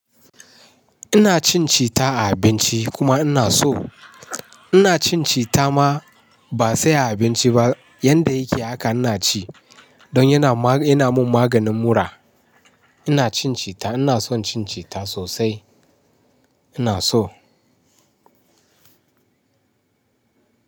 Ina cin cita a abinci kuma ina so. Ina cin cita ma ba sai a abinci ba, yanda yake haka ina ci, don yana ma, ga, yana min maganin mura. Ina cin cita, ina son cin cita sosai, ina so.